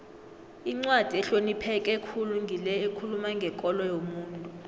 incwadi ehlonipheke khulu ngile ekhuluma ngekolo yomuntu